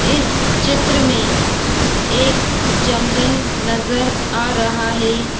इस चित्र मे एक जंगल नजर आ रहा है।